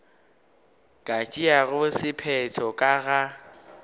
ka tšeago sephetho ka ga